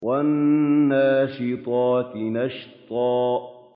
وَالنَّاشِطَاتِ نَشْطًا